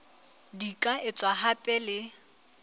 di ka etswa hape le